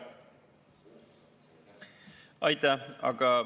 Aitäh!